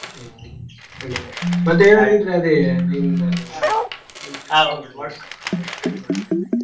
ಹ್ಮ್ ಹಂಗೆ ಮತ್ತೆ ಏನಾದ್ರು ಇದ್ರೆ ಅದೇ ನಿಂದು ಅದು .